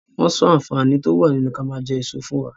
Wọn sọ àǹfààní to wá nínú ki a maa jẹ èso fún wa.